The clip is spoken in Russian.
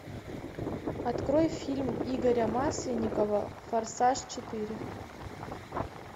открой фильм игоря масленникова форсаж четыре